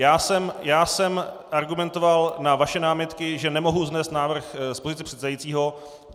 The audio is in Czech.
Já jsem argumentoval na vaše námitky, že nemohu vznést návrh z pozice předsedajícího.